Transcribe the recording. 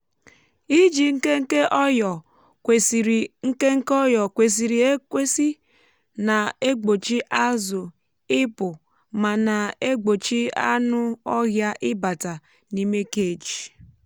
iji nkénké ọyò kwesịrị nkénké ọyò kwesịrị ekwesị na-egbochi azụ ịpụ ma na-egbochi anụ ọhịa ịbata n'ime cage.